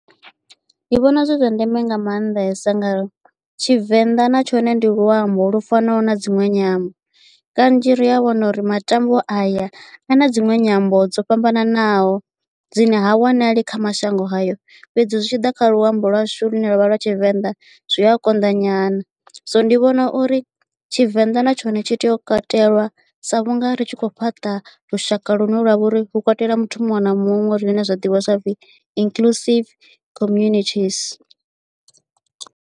Ndi vhona zwi zwa ndeme nga maanḓesa nga uri tshivenḓa na tshone ndi luambo lu fanaho na dziṅwe nyambo kanzhi ri a wana uri matambwa aya a na dziṅwe nyambo dzo fhambananaho dzine ha wanali kha mashango hayo fhedzi zwi tshi ḓa kha luambo lwa shu lune lwavha lwa tshivenḓa zwi a konḓa nyana so ndi vhona uri tshivenḓa na tshone tshi tea u katelwa sa vhunga ri tshi khou fhaṱa lushaka lwa vha uri hu katela muthu muṅwe na muṅwe a re na zwa ḓivhiwa sa upfhi inclusive communities.